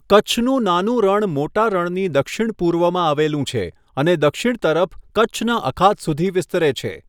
કચ્છનું નાનું રણ મોટા રણની દક્ષિણપૂર્વમાં આવેલું છે અને દક્ષિણ તરફ કચ્છના અખાત સુધી વિસ્તરે છે.